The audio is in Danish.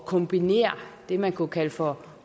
kombinere det man kunne kalde for